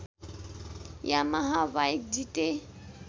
Yamaha bike जिते